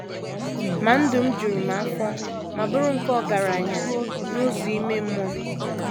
Ma ndụ m juru m afọ ma bụrụ nke ọgaranya n’ụzọ ime mmụọ.